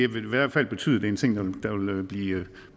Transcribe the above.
vil i hvert fald betyde det en ting der vil blive